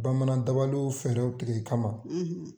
Bamanan dabaliw fɛɛrɛ tigɛ i kama.